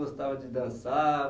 Gostava de dançar?